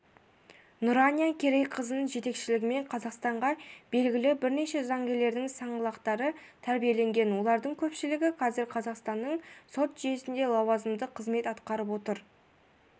нұрания керейқызының жетекшілігімен қазақстанға белгілі бірнеше заңгерлердің саңлақтары тәрбиеленген олардың көпшілігі қазір қазақстанның сот жүйесінде лауазымды қызмет атқарып отыр